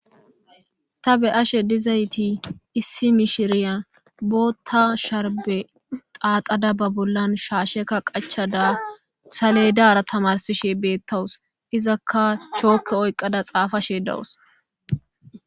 Ta beyashe dizaytii issi mishiriya boththa sharbe xaxada ba bollan shashshekka qachchada saledara tamaarsishe beetawus izakka chokkee oyqada xaafashe dawus